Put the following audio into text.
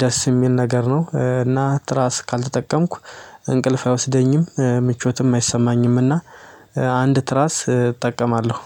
ደስ የሚል ነገር ነው። እና ትራስ ካልተጠቀምኩ እንቅልፍ አይወስደኝም ምቾትም አይሰማኝምና አንድ ትራስ እጠቀማለሁ።